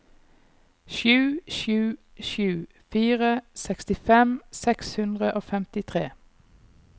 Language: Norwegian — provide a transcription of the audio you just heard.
sju sju sju fire sekstifem seks hundre og femtifire